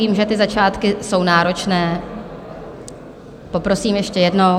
Vím, že ty začátky jsou náročné, poprosím ještě jednou.